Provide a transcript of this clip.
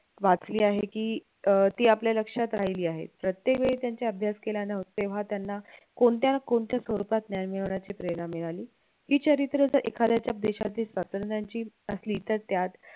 वाचली आहे की अं ती आपल्या लक्षात राहिली आहे प्रत्येकवेळी त्यांच्या अभ्यास केल्याने तेव्हा त्यांना कोणत्या न कोणत्या स्वरूपात ज्ञान मिळवण्याची प्रेरणा मिळाली ही चरित्र जर एखाद्याच्या वेशात दिसतात तर त्यांची असली तर त्यात